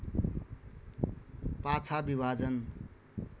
पाछा विभाजन